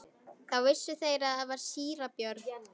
Þá vissu þeir að þar var síra Björn.